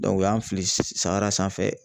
u y'an fili sahara sanfɛ